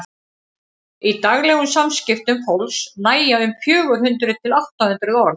í daglegum samskiptum fólks nægja um fjögur hundruð til átta hundruð orð